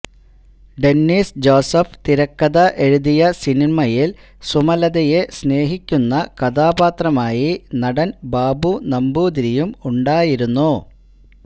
Dennis Joseph തിരക്കഥ എഴുതിയ സിനിമയിൽ സുമലതയെ സ്നേഹിക്കുന്ന കഥാപാത്രമായി നടൻ ബാബു നമ്പൂതിരിയും ഉണ്ടായിരുന്നു